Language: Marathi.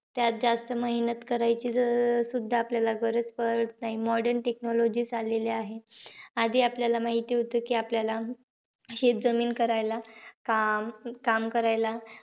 त्यात जास्त मेहनत करायची ज सुद्धा आपल्याला गरज पडत नाही. Modern technologies आलेल्या आहे. आधी आपल्याला माहिती होतं की, आपल्याला शेतजमीन करायला, काम करायला,